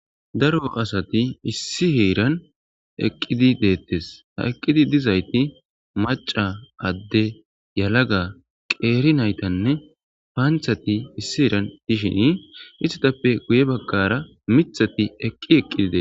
Daro asati issi heeran eqqidi deettes. Ha eqqidi dizayti maca, adde, yalaga, qeeri ,naytanne paanthati issi heeran dishin istitappe guye baggara mithati eqqi eqqidi de7eetees.